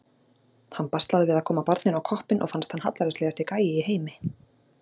Hann baslaði við að koma barninu á koppinn og fannst hann hallærislegasti gæi í heimi.